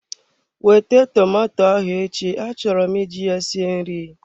Wete tomato ahụ echi, achọrọ m iji ya sie nri!